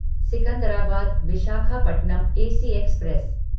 Secunderabad Visakhapatnam AC express